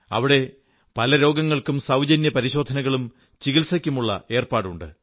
അവിടെ പല രോഗങ്ങൾക്കും സൌജന്യ പരിശോധനകളും ചികിത്സയ്ക്കുമുള്ള ഏർപ്പാടുണ്ട്